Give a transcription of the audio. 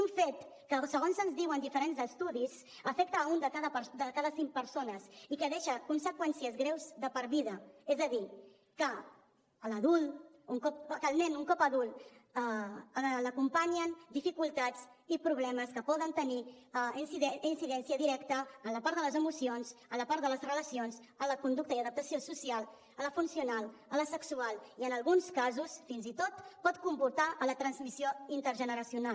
un fet que segons ens diuen diferents estudis afecta una de cada cinc persones i que deixa conseqüències greus de per vida és a dir que al nen un cop adult l’acompanyen dificultats i problemes que poden tenir incidència directa en la part de les emocions en la part de les relacions en la conducta i adaptació social en la funcional en la sexual i en alguns casos fins i tot pot comportar la transmissió intergeneracional